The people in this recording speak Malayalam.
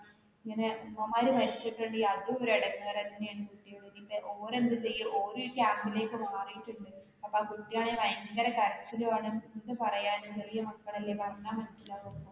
ഇങ്ങനെ അമ്മമാര് മരിച്ചിട്ടുണ്ടേല് അതുമൊരു എടങ്ങരുതന്നെയാണ്ഓ ര് എന്തുചെയ്യും ഓരും ഈ camp ലേക്ക് മാറീട്ടുണ്ട്. അപ്പൊ ആ കുട്ടിയാണേല് ഭയങ്കര കരച്ചിലുമാണ് എന്ത് പറയാനാ ചെറിയ മക്കളല്ലേ പറഞ്ഞാൽ മനസ്സിലാകുമോ.